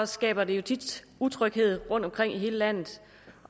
skaber det jo tit utryghed rundtomkring i hele landet